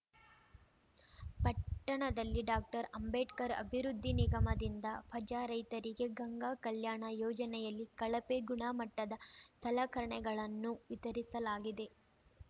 ಪಟ್ಟಣದಲ್ಲಿ ಡಾಕ್ಟರ್ ಅಂಬೇಡ್ಕರ್‌ ಅಭಿವೃದ್ದಿ ನಿಗಮದಿಂದ ಪಜಾ ರೈತರಿಗೆ ಗಂಗಾ ಕಲ್ಯಾಣ ಯೋಜನೆಯಲ್ಲಿ ಕಳಪೆ ಗುಣ ಮಟ್ಟದ ಸಲಕರಣೆಗಳನ್ನು ವಿತರಿಸಲಾಗಿದೆ